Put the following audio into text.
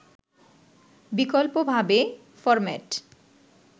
বিকল্পভাবে ফরম্যাট